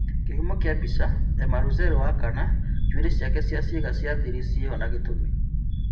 Kĩhumo kĩa mbicha, Emma Russell wakana- njuĩrĩ ciake cia ciĩga cia thiri ciĩho na gĩtũmi.